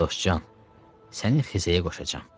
“Dostcan, səni xizəyə qoşacam.